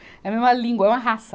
É a mesma língua, é uma raça.